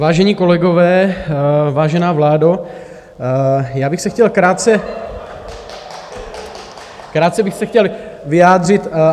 Vážení kolegové, vážená vládo, já bych se chtěl krátce... ... krátce bych se chtěl vyjádřit.